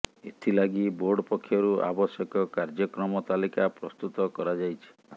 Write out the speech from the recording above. ଏଥିଲାଗି ବୋର୍ଡ଼ ପକ୍ଷରୁ ଆବଶ୍ୟକ କାର୍ଯ୍ୟକ୍ରମ ତାଲିକା ପ୍ରସ୍ତୁତ କରାଯାଇଛି